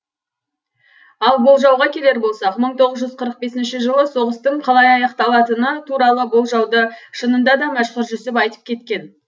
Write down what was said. ал болжауға келер болсақ мың тоғыз жүз қырық бесінші жылы соғыстың қалай аяқталатыны туралы болжауды шынында да мәшһүр жүсіп айтып кеткен